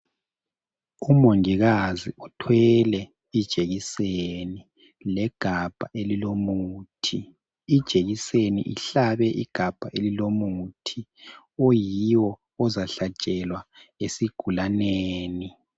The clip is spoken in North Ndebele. Umongikazi uthwele ijekiseni legabha elilomuthi. Ijekiseni ihlabe igabha elilomuthi oyiwo ozahlatshelwa esigulaneni.